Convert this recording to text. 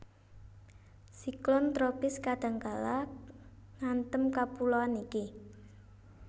Siklon tropis kadhangkala ngantem kapuloan iki